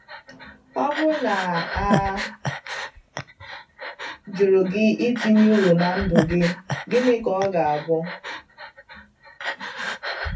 Ọ bụrụ na a jụrụ gị itinye uru na ndụ gị, gịnị ka ọ ga abụ?